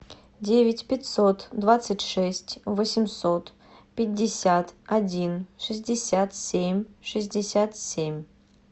девять пятьсот двадцать шесть восемьсот пятьдесят один шестьдесят семь шестьдесят семь